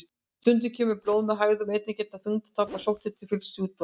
Stundum kemur blóð með hægðum og einnig geta þyngdartap og sótthiti fylgt sjúkdómnum.